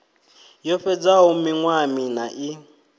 yo fhedzaho miṅwaha miṋa i